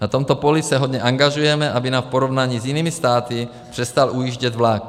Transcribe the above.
Na tomto poli se hodně angažujeme, aby nám v porovnání v jinými státy přestal ujíždět vlak.